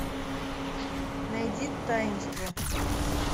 найди таинство